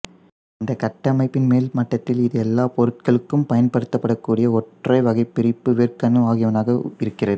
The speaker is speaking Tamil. இந்த கட்டமைப்பின் மேல்மட்டத்தில் இது எல்லா பொருட்களுக்கும் பயன்படுத்தப்படக்கூடிய ஒரு ஒற்றை வகைபிரிப்பு வேர்க்கணு ஆகியனவாக இருக்கிறது